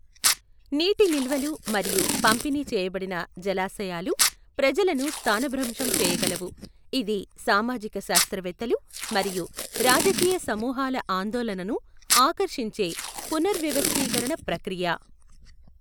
నీటి నిల్వలు మరియు పంపిణీ చేయబడిన జలాశయాలు ప్రజలను స్థానభ్రంశం చేయగలవు. ఇది సామాజిక శాస్త్రవేత్తలు మరియు రాజకీయ సమూహాల ఆందోళనను ఆకర్షించే పునర్వవస్థీకరణ ప్రక్రియ.